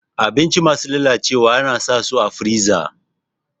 Abinci masu lalacewa ana saka su a firiza